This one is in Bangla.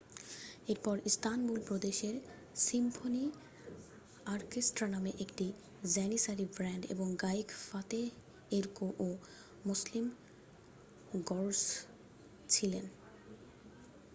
এরপরে ইস্তানবুল প্রদেশের সিম্ফনি অর্কেস্ট্রা নামে একটি জ্যানিসারি ব্যান্ড এবং গায়ক ফাতেহ এরকো ও মসলিম গর্সস ছিলেন